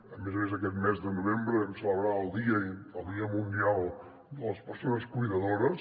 a més a més aquest mes de novembre vam celebrar el dia mundial de les persones cuidadores